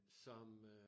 Som øh